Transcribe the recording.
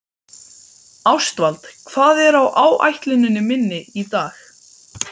Ástvald, hvað er á áætluninni minni í dag?